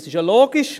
Dies ist logisch.